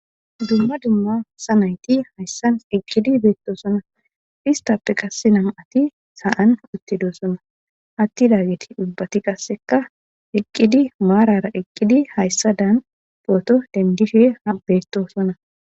dumma dumma asanayti hayssan eqqidi beettosona istappe qasse nam ati sa7an uttidosona hatti daageti dubbati qasseka eqqidi maarara eqqidi hayssa daan pooto dendishe habeetosona